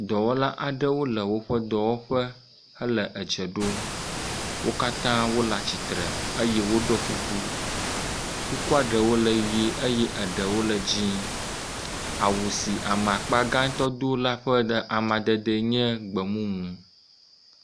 Dɔwɔla aɖewo le woƒe dɔwɔƒe hele edze ɖom, wo katã wole atsitre eye woɖɔ kuku, kukua ɖewo le ʋɛ̃ eye ɖewo dzee, awu si ame akpa gãtɔ do la ƒe amadede nye gbemumu.